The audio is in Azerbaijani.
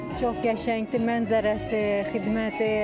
Çox qəşəngdir mənzərəsi, xidməti.